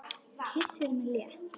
Kyssir mig létt.